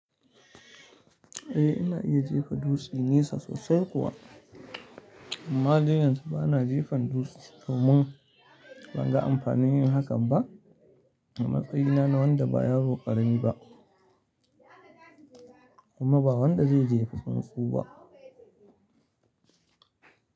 Eh ina iya jefa dutse nisa sosai kuwa amma dai yanzu bana jefan dutse domin ban ga amfanin yin hakan ba. A matsayina na wanda ba yaro ƙarami ba kuma ba wanda zai jefa tsuntsu ba.